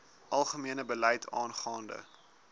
algemene beleid aangaande